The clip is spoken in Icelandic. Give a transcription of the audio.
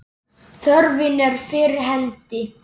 Þörfin er fyrir hendi.